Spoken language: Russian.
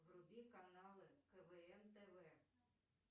вруби канал квн тв